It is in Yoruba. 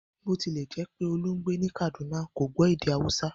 Bó ti lè̩ jé̩ pé Olú ń gbé ní Kàdúná, kò gbó̩ èdè Hausa